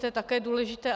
To je také důležité.